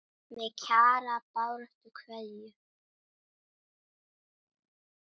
Með Kjara baráttu kveðju.